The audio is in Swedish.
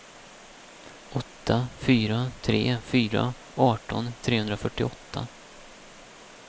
åtta fyra tre fyra arton trehundrafyrtioåtta